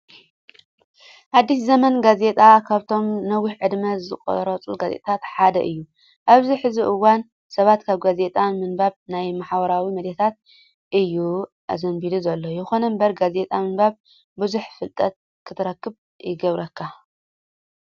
ኣዲስ ዘመን ጋዜጣ ካብቶም ነዊሕ ዕድመ ዘቁፀሩ ጋዜጣታት ሓደ እዩ። ኣብዚ ሕዚ እዋን ሰባት ካብ ጋዜጣ ምንባብ ናብ ማህበራዊ ሚዲያታት እዩ ኣዘንብሉ ዘሎ። ይኹን እምበር ጋዜጣ ምንባብ ብዙሕ ፍልጠት ክትረክብ ይገብረካ።